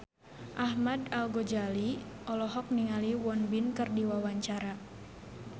Ahmad Al-Ghazali olohok ningali Won Bin keur diwawancara